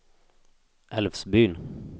Älvsbyn